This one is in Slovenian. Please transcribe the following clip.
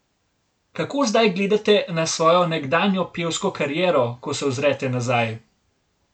Kako zdaj gledate na svojo nekdanjo pevsko kariero, ko se ozrete nazaj?